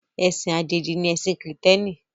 Ẹ̀sìn Àjèjì ni ẹ̀sìn kìrììtẹ́nì